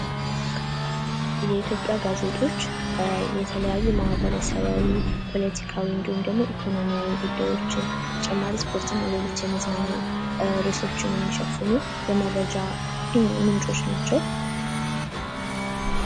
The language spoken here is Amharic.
የኢትዮጵያ ጋዜጦች የተለያዩ ማህበረሰባዊ ፖለቲካዊ እንድሁም ደግሞ ኢኮኖሚያዊ ጉዳዮችን ተጨማሪ ስፖርትና ሌሎች መዝናኛ ርዕሶችን የሚሸፍኑ የመረጃ ምንጮች ናቸው።